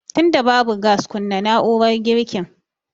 Tunda babu gas kunna na'urar girkin